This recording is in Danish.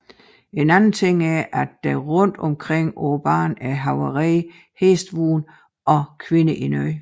En anden ting er at der rundt omkring på banen er havarerede hestevogne og kvinder i nød